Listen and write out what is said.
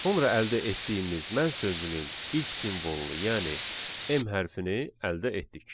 Sonra əldə etdiyimiz mən sözünün ilk simvolunu, yəni M hərfini əldə etdik.